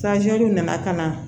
nana ka na